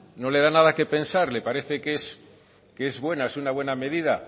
no le da nada que pensar le parece que es buena es una buena medida